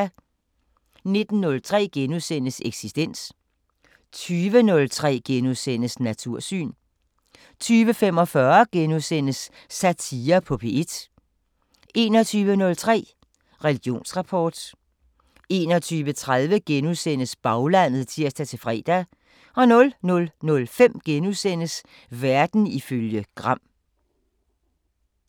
19:03: Eksistens * 20:03: Natursyn * 20:45: Satire på P1 * 21:03: Religionsrapport 21:30: Baglandet *(tir-fre) 00:05: Verden ifølge Gram *